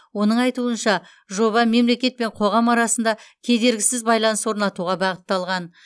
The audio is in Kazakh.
оның айтуынша жоба мемлекет пен қоғам арасында кедергісіз байланыс орнатуға бағытталған